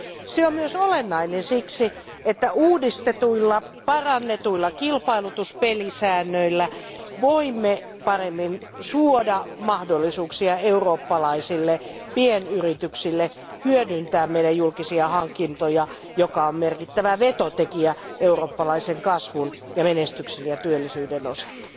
Se on myös olennainen siksi, että uudistetuilla, parannetuilla kilpailutuspelisäännöillä voimme paremmin suoda mahdollisuuksia eurooppalaisille pienyrityksille hyödyntää meidän julkisia hankintojamme, jotka ovat merkittävä vetotekijä eurooppalaisen kasvun, menestyksen ja työllisyyden osalta.